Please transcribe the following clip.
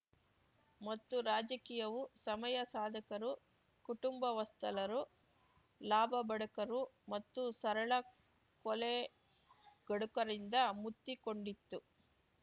ಮತ್ತು ರಾಜಕೀಯವು ಸಮಯಸಾಧಕರು ಕುಟುಂಬವಸ್ತಲರು ಲಾಭಬಡುಕರು ಮತ್ತು ಸರಳ ಕೊಲೆಗಡುಕರಿಂದ ಮುತ್ತಿಕೊಂಡಿತ್ತು